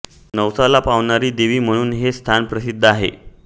नवसाला पावणारी देवी म्हणून हे स्थान प्रसिद्ध आहे